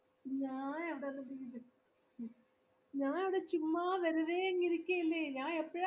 ഞാൻ ഞാൻ ഇവിടെ ചുമ്മാ വെറുതെയെന്കിരികയല്ലേ ഞാൻ എപ്പോഴാ